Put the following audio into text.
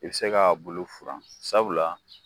I be se ka bulu furan. Sabula